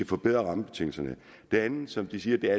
forbedre rammebetingelserne det andet som de siger